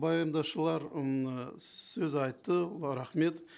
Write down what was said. баяндаушылар м ы сөз айтты рахмет